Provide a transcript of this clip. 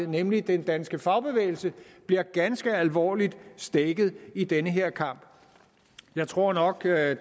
nemlig den danske fagbevægelse bliver ganske alvorligt stækket i den her kamp jeg tror nok at